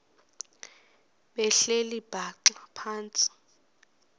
behleli bhaxa phantsi